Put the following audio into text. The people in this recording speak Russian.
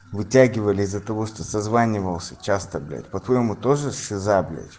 вытягивали из-за того что созванивался часто блять по-твоему тоже шиза блядь